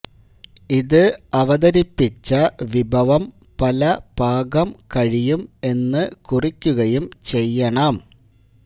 ഇത് അവതരിപ്പിച്ച വിഭവം പല പാകം കഴിയും എന്ന് കുറിക്കുകയും ചെയ്യണം